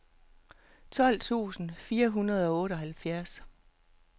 tolv tusind fire hundrede og otteoghalvfjerds